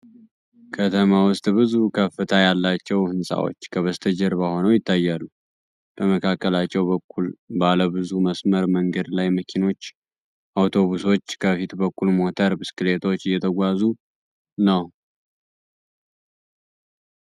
ከተማ ውስጥ ብዙ ከፍታ ያላቸው ሕንፃዎች ከበስተጀርባ ሆነው ይታያሉ። በመካከለኛው በኩል ባለ ብዙ መስመር መንገድ ላይ መኪኖች፣ አውቶቡሶች እና ከፊት በኩል ሞተር ብስክሌቶች እየተጓዙ ነው።